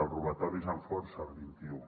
el robatoris amb força el vint i u